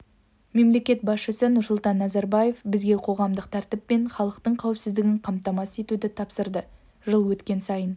мемлекет басшысы нұрсұлтан назарбаев бізге қоғамдық тәртіп пен халықтың қауіпсіздігін қамтамасыз етуді тапсырды жыл өткен сайын